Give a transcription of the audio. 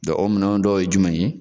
o minɛn dɔw ye jumɛn ye